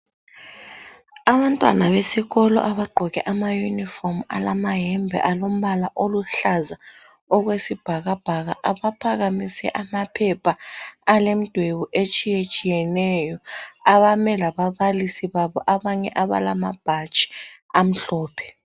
Abantwana besikolo abagqoke amayunifomu alamayembe alompala oluhlaza okwesibhakabhaka abaphakamise amaphepha alemdwebu etshiyetshiyeneyo abame lababalisi babo abanye abalamabhatshi amhlophe.